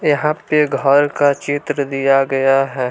यहाँ पे घर का चित्र दिया गया है।